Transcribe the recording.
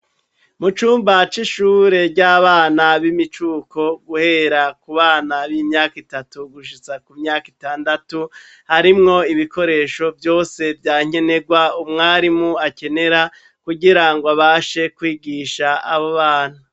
Mu cumba c'ishure ry'abana b'imicuko guhera ku bana b'imyaka itatu gushitsa ku myaka itandatu harimwo ibikoresho vyose vya nkenerwa umwarimu akenera kugira ngo abashe kwigisha abo bana.